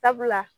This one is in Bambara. Sabula